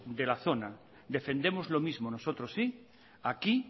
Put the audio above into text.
de la zona defendemos lo mismo nosotros sí aquí